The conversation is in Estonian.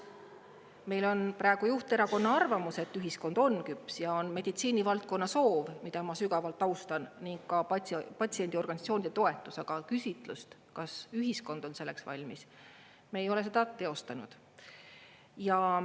Meil on praegu juhterakonna arvamus, et ühiskond on küps, ja on meditsiinivaldkonna soov, mida ma sügavalt austan, ning ka patsiendiorganisatsioonide toetus, aga küsitlust, kas ühiskond on selleks valmis, me ei ole seda teostanud.